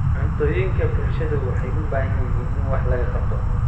Cuntooyinka bulshadu waxay u baahan yihiin in wax laga qabto.